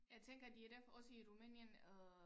Jeg tænker det er derfor også Romænien øh